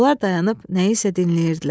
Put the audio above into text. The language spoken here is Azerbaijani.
Onlar dayanıb nəyisə dinləyirdilər.